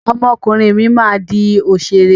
Ọmọ ọkùnrin mi máa di òṣèré.